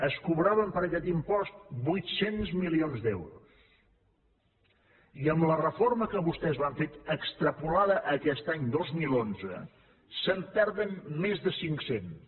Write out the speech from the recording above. es cobraven per aquest impost vuit cents milions d’euros i amb la reforma que vostès van fer extrapolada a aquest any dos mil onze se’n perden més de cinc cents